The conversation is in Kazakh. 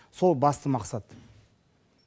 сол басты мақсат